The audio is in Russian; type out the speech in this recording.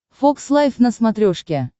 фокс лайф на смотрешке